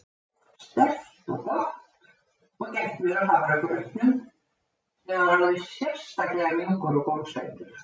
sterkt og gott- og gætt mér á hafragrautnum sem var alveg sérstaklega mjúkur og gómsætur.